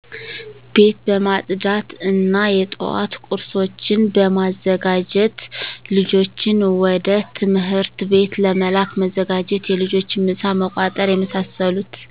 ቤት በማፅዳት እና የጠዋት ቁርሶችን በማዘጋጀት ልጆችን ወደ ትምህርት ቤት ለመላክ መዘጋጀት የልጆችን ምሳ መቋጠር የመሳሰሉት